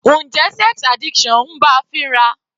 Njẹ́ sex addiction ń bá a fínra?